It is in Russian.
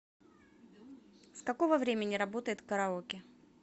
с какого времени работает караоке